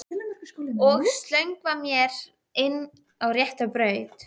Og slöngva mér inn á rétta braut.